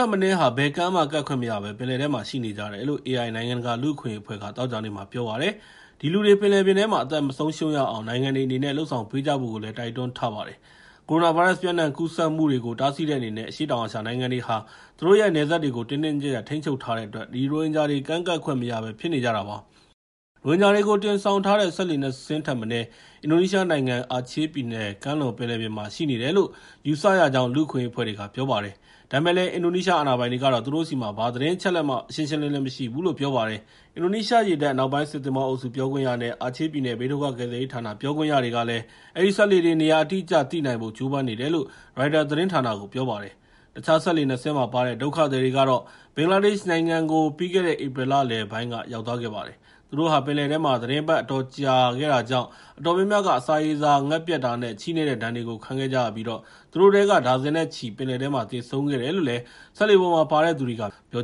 က်မနည်းဟာ ဘယ်ကမ်းမှ ကပ်ခွင့်မရဘဲ ပင်လယ်ထဲမှာပဲ ရှိနေကြတယ်လို့ AI နိုင်ငံတကာ လူ့အခွင့်အရေးအဖွဲ့က သောကြာနေ့မှာ ပြောပါတယ်။ ဒီလူတွေ ပင်လယ်ပြင်ထဲမှာ အသက်မဆုံးရှုံးရအောင် နိုင်ငံတွေအနေနဲ့ လုပ်ဆောင်ပေးကြဖို့လည်း တိုက်တွန်းထားပါတယ်။ ကိုရိုနာဗိုင်းရပ်စ် ပျံ့နံှံ့ကူးစက်မှုကို တားဆီးတဲ့အနေနဲ့ အရှေ့တောင်အာရှနိုင်ငံတွေက သူတို့ရဲ့ နယ်စပ်တွေကို တင်းတင်းကျပ်ကျပ် ထိန်းချုပ်ထားတဲ့အတွက် ဒီရိုဟင်ဂျာတွေ ကမ်းကပ်ခွင့်မရဘဲ ဖြစ်နေကြတာပါ။ ရိုဟင်ဂျာတွေကို တင်ဆောင်ထားတဲ့ စက်လှေ ၂ စင်းထက်မနည်း အင်ဒိုနီးရှားနိုင်ငံ အာချေးပြည်နယ်ကမ်းလွန်မှာ ရှိနေတယ်လို့ ယူဆရကြောင်း လူ့အခွင့်အရေး အဖွဲ့တွေက ပြောပါတယ်။ ဒါပေမယ့်လည်း အင်ဒိုနီးရှား အာဏာပိုင်တွေကတော့ သူတို့ဆီမှာ ဘာသတင်းအချက်အလက်မှ ရှင်းရှင်းလင်းလင်း မရှိဘူးလို့ ပြောပါတယ်။ အင်ဒိုနီးရှားရေတပ် အနောက်ပိုင်း စစ်သင်္ဘောအုပ်စု ပြောခွင့်ရလည်းဖြစ်၊ အာချေးပြည်နယ် ဘေးဒုက္ခကယ်ဆယ်ရေးဌာနရဲ့ ပြောခွင့်ရတွေကလည်း အဲဒီစက်လှေတွေရဲ့ နေရာအတိအကျကို သိနိုင်ဖို့ ကြိုးပမ်းနေတယ်လို့ ရိုက်တာသတင်းဌာနကို ပြောပါတယ်။ တခြားစက်လှေ ၂ စင်းမှာပါတဲ့ ဒုက္ခသည်တွေကတော့ ဘင်္ဂလားဒေ့ရှ်နိုင်ငံကို ပြီးခဲ့တဲ့ ဧပြီလလယ်ပိုင်းက ရောက်သွားခဲ့ပါတယ်။ သူတို့ဟာ ပင်လယ်ထဲမှာ သီတင်းပတ် အတော်ကြာခဲ့တာကြောင့် အတော်များများဟာ အစာရေစာ ငတ်ပြတ်တာနဲ့ ချည့်နဲ့တဲ့ဒဏ်တွေကို ခံခဲ့ရပြီး သူတို့ထဲက ဒါဇင်နဲ့ချီပြီး ပင်လယ်ထဲမှာ သေဆုံးခဲ့တယ်လို့ စက်လှေပေါ်မှာ ပါတဲ့သူတွေက ပြော